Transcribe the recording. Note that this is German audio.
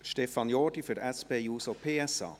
Stefan Jordi für SP-JUSO-PSA.